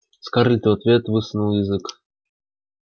скарлетт в ответ высунула язык